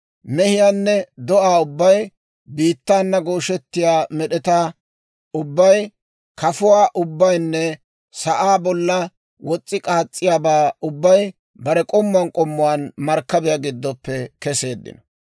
Mehiyaanne do'aa ubbay, biittaana gooshettiyaa med'etaa ubbay, kafuwaa ubbaynne sa'aa bollan wos's'i k'aas's'iyaabaa ubbay bare k'ommuwaan k'ommuwaan markkabiyaa giddoppe keseeddino.